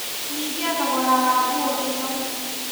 Nyihia thogora wa nguo ino